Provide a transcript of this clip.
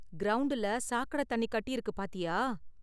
கிரவுண்டுல சாக்கடை தண்ணி கட்டிருக்கு பார்த்தியா?